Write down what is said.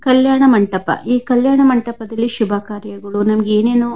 ಕಲ್ಯಾಣ ಮಂಟಪ ಈ ಕಲ್ಯಾಣ ಮಂಟಪದಲ್ಲಿ ಶುಭಕಾರ್ಯಗಳು ನಮಗೆ ಏನೇನು --